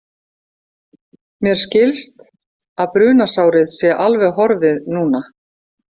Mér skilst að brunasárið sé alveg horfið núna.